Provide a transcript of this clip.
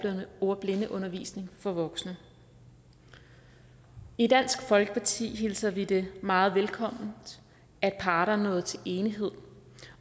ordblindeundervisning for voksne i dansk folkeparti hilser vi det meget velkommen at parterne er nået til enighed